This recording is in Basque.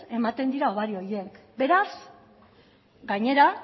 ematen dira hobari horiek beraz gainera